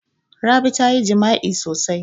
Rabi ta yi jima'i sosai.